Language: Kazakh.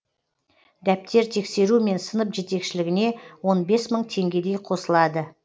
дәптер тексеру мен сынып жетекшілігіне он бес мың теңгедей қосылады